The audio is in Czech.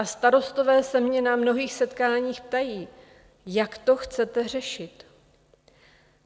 A starostové se mě na mnohých setkáních ptají: Jak to chcete řešit?